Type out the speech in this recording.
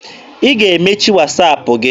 Ị ga-emechi Wasaapụ gị!